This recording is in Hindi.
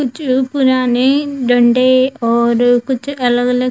कुछ पुराने डंडे और कुछ अलग-अलग --